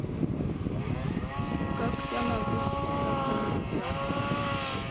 как я могу записаться на массаж